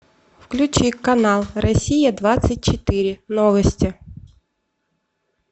включи канал россия двадцать четыре новости